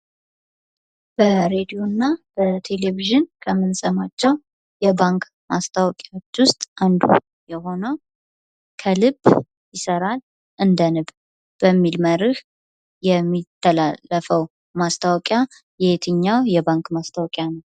በሬድዮ እና በቴሌቪዥን ከምንሰማቸው የባንክ ማስታወቂያዎች ውስጥ አንዱ የሆነው ከልብ ይሰራል እንደ ንብ በሚል መርህ የሚተላለፈው ማስታወቂያ የትኛው የባንክ ማስታወቂያ ነው?